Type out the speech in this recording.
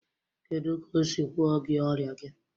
Kedu ka o si gwo gị ọrịa gị?